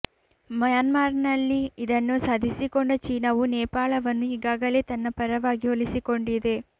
ಮ್ಯಾನ್ಮಾರ್ನಲ್ಲಿ ಇದನ್ನು ಸಾಧಿಸಿಕೊಂಡ ಚೀನಾವು ನೇಪಾಳವನ್ನು ಈಗಾಗಲೇ ತನ್ನ ಪರವಾಗಿ ಒಲಿಸಿಕೊಂಡಿದೆ